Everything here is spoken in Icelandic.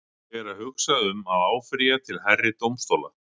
Ég er að hugsa um að áfrýja til hærri dómstóla.